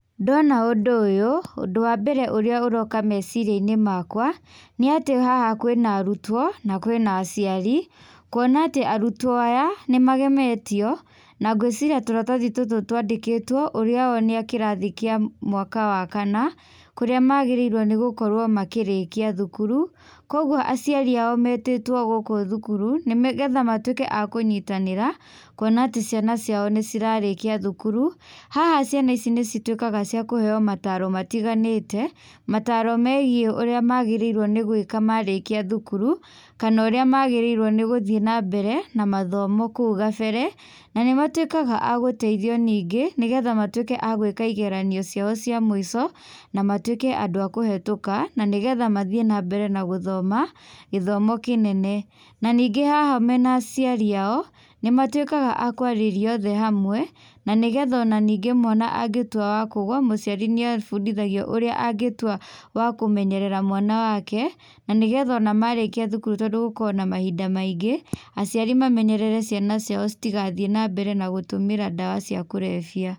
Ndona ũndũ ũyũ, ũndũ wa mbere ũrĩa ũroka meciria-inĩ makwa, nĩ atĩ haha kwĩna arutwo na kwĩna aciari. Kuona atĩ arutwo aya nĩmagemetio na ngũĩciria tũratathi tũtũ twandĩkĩtwo ũrĩa o nĩ a kĩrathi kĩa mwaka wa kana, kũrĩa magĩrĩirwo nĩ gũkorwo makĩrĩkia thukuru. Koguo aciari ao metĩtwo gũkũ thukuru nĩgetha matuĩke a kũnyitanĩra kuona atĩ ciana ciao nĩ cirarĩkia thukuru. Haha ciana ici nĩ cituĩkaga cia kũheo mataaro matiganĩte, mataaro megiĩ ũrĩa magĩrĩiruo nĩ gũĩka marĩkia thukuru kana ũrĩa magĩrĩiruo nĩ gũthiĩ nambere na mathomo kũu gabere. Na nĩmatuĩkaga agũteithio ningĩ nĩgetha matuĩke a gũĩka igeranio ciao cia mũico na matuĩke andũ a kũhĩtũka na nĩgetha mathiĩ nambere na gũthoma gĩthomo kĩnene. Na ningĩ haha mena aciari ao, nĩ matuĩkaga a kũarĩrio othe hamwe, na nĩgetha ona ningĩ mwana angĩtua wa kũgũa mũciari nĩ abundithagio ũrĩa angĩtua wa kũmenyerera mwana wake, na nĩgetha ona marĩkia thukuru tondũ gũkoragwo na mahinda maingĩ, aciari mamenyerere ciana ciao citigathiĩ nambere na gũtũmĩra ndawa cia kũrebia.